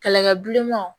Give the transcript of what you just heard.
Kɛlɛkɛ bilenmanw